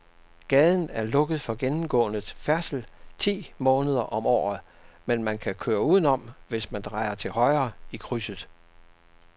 Gaden er lukket for gennemgående færdsel ti måneder om året, men man kan køre udenom, hvis man drejer til højre i krydset.